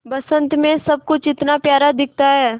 बसंत मे सब कुछ इतना प्यारा दिखता है